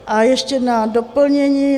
A ještě na doplnění.